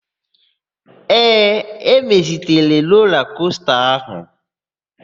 Ee, emezitere rola kosta áhụ̀.